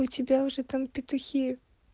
у тебя уже там петухи